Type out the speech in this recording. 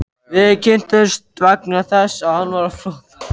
Við kynntumst vegna þess að hann var á flótta.